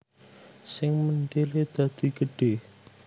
Sing mendele dadi gedhe